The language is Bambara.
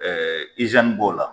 b'o la